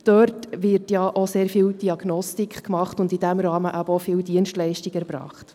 Dort wird auch sehr viel Diagnostik gemacht, und in diesem Rahmen werden denn auch viele Dienstleistungen erbracht.